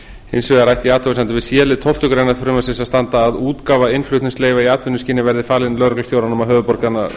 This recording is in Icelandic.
hins vegar ætti í athugasemdum við c lið tólftu greinar frumvarpsins að standa að útgáfa innflutningsleyfa í atvinnuskyni verði falin lögreglustjóranum á